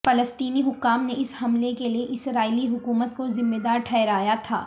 فلسطینی حکام نے اس حملے کے لیے اسرائیلی حکومت کو ذمہ دار ٹھہرایا تھا